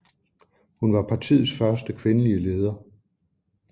Hun var partiets første kvindelige leder